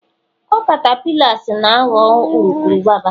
ọ catapillars na ghọọ urukurubụba